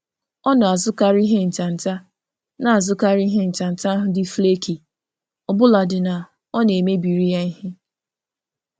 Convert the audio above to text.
Ọ na-azụkarị um nri um ahụ na-apụta n’akụkụ mgbe ọ gụsịrị arụmịka, ọbụlagodi na ọ na-akpata ya ịda n’ọrụ nri ya.